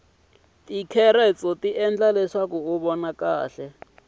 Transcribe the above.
ticaroti ti endla uvona kahle